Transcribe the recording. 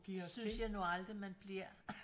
Det synes jeg nu aldrig man bliver